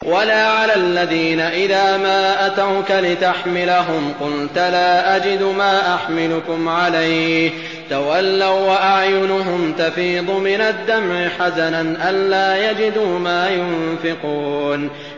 وَلَا عَلَى الَّذِينَ إِذَا مَا أَتَوْكَ لِتَحْمِلَهُمْ قُلْتَ لَا أَجِدُ مَا أَحْمِلُكُمْ عَلَيْهِ تَوَلَّوا وَّأَعْيُنُهُمْ تَفِيضُ مِنَ الدَّمْعِ حَزَنًا أَلَّا يَجِدُوا مَا يُنفِقُونَ